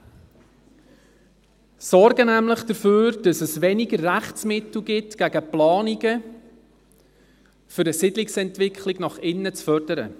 Beide Anträge sorgen dafür, dass es weniger Rechtsmittel gegen Planungen gibt, um eine Siedlungsentwicklung nach innen zu fördern.